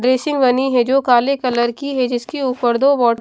basin बनी है जो काले कलर की है जिसके ऊपर दो--